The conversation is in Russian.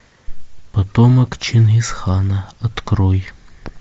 потомок чингисхана открой